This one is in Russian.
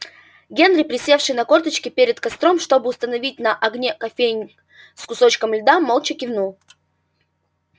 генри присевший на корточки перед костром чтобы установить на огне кофейник с кусочком льда молча кивнул